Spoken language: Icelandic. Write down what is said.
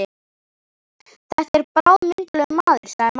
Þetta er bráðmyndarlegur maður, sagði mamma.